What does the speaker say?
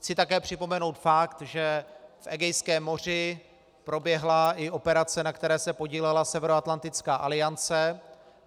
Chci také připomenout fakt, že v Egejském moři proběhla i operace, na které se podílela Severoatlantická aliance.